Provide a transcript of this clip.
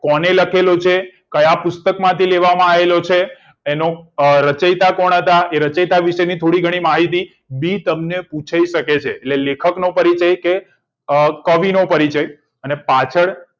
કોને લખેલો છે ક્યાં પુસ્તક માંથી લેવામાં આવેલો છે એનો રચેતા કોણ હતા એ રચેતા વિશે થોડી ઘણી માહિતી બી તમને પૂછી શકે છે એટલે લેખકનો પરિચય કે કવિનો પરિચય અને પાછળ